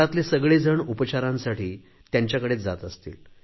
घरातले सगळे जण उपचारांसाठी त्यांच्याकडेच जात असतील